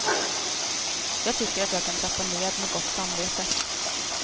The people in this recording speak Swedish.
Jag tycker att jag kan trappa ned med gott samvete.